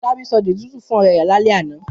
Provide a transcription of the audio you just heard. Fọlábí sọ dey zuzu fún ọ̀rẹ́ rẹ̀ lálẹ́ àná.